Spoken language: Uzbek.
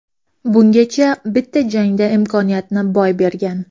Bungacha bitta jangda imkoniyatni boy bergan.